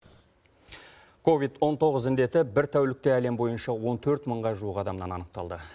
ковид он тоғыз індеті бір тәулікте әлем бойынша он төрт мыңға жуық адамнан анықталды